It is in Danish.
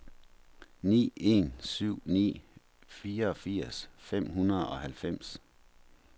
ni en syv ni fireogfirs fem hundrede og halvfems